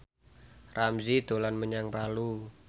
Ramzy dolan menyang Palu